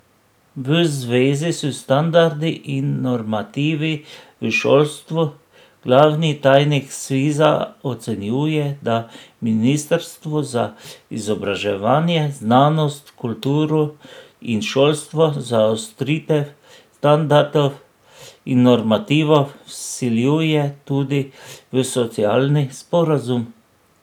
V zvezi s standardi in normativi v šolstvu glavni tajnik Sviza ocenjuje, da ministrstvo za izobraževanje, znanost, kulturo in šolstvo zaostritev standardov in normativov vsiljuje tudi v socialni sporazum.